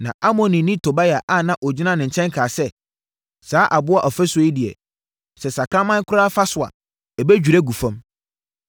Na Amonni Tobia a na ɔgyina ne nkyɛn kaa sɛ, “Saa aboɔ ɔfasuo yi deɛ, sɛ sakraman koraa fa so a, ɛbɛdwiri agu fam!”